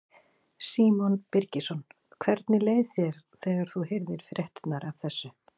Símon Birgisson: Hvernig leið þér þegar þú heyrðir fréttirnar af þessu?